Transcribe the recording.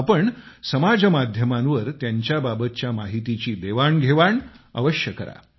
आपण समाज माध्यमांवर त्यांच्या बाबतच्या माहितीची देवाणघेवाण अवश्य करा